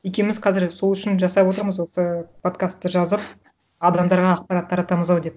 екеуіміз қазір сол үшін жасап отырмыз осы подкастты жазып адамдарға ақпарат таратамыз ау деп